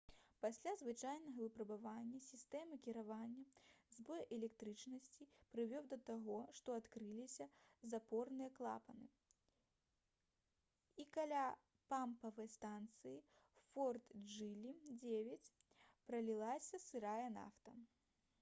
пасля звычайнага выпрабавання сістэмы кіравання збой электрычнасці прывёў да таго што адкрыліся запорныя клапаны і каля помпавай станцыі «форт джылі 9» пралілася сырая нафта